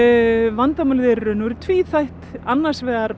vandamálið er í raun og veru tvíþætt annars vegar